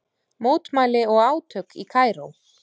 Mótmæli og átök í Kaíró